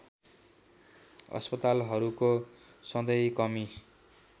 अस्पतालाहरूको सधैँ कमी